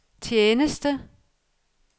tjeneste